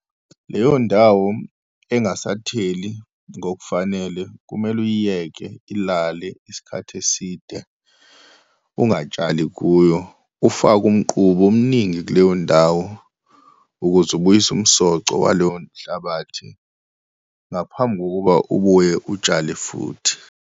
Leyo ndawo engasatheli ngokufanele kumele uyiyeke ilale isikhathi eside, ungatshali kuyo, ufake umquba omningi kuleyo ndawo ukuze ubuyise umsoco waleyo nhlabathi, ngaphambi kokuba ubuye utshale futhi.